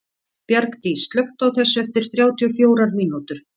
Bjargdís, slökktu á þessu eftir þrjátíu og fjórar mínútur.